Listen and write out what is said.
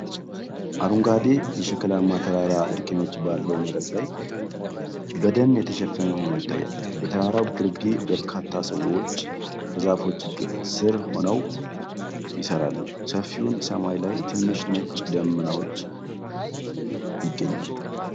አረንጓዴ የሸክላማ ተራራ እርከኖች ባለው መሬት ላይ በደን የተሸፈነ ሆኖ ይታያል። በተራራው ግርጌ በርካታ ሰዎች ከዛፎቹ ሥር ሆነው ይሠራሉ። ሰፊውን ሰማይ ላይ ትንሽ ነጭ ደመናዎች ይገኛሉ።